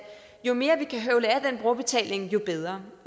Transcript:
jo mere vi kan høvle af den brugerbetaling jo bedre